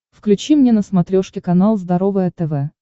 включи мне на смотрешке канал здоровое тв